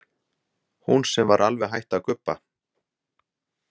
Hún sem var alveg hætt að gubba.